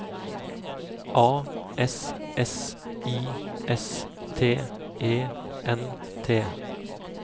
A S S I S T E N T